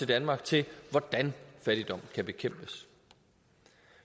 danmark til hvordan fattigdom kan bekæmpes